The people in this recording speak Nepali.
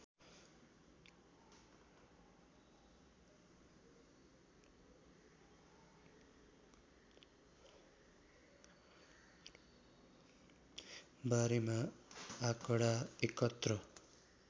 बारेमा आँकडा एकत्र